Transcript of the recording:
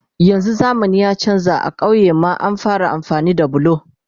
yanzun zamani ya chanza a kauyuka ma an fara amfani da bulo